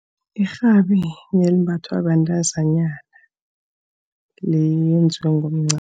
Irhabi limbathwa bentazanyana, lenziwe ngomncamo.